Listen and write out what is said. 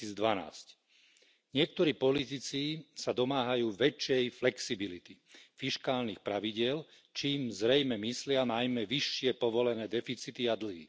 2012. Niektorí politici sa domáhajú väčšej flexibility fiškálnych pravidiel, čím zrejme myslia najmä vyššie povolené deficity a dlhy.